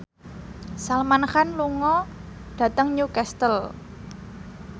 Salman Khan lunga dhateng Newcastle